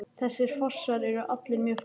Þessir fossar eru allir mjög fallegir.